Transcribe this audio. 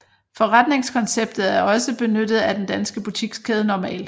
Forretningskonceptet er også benyttet af den danske butikskæde Normal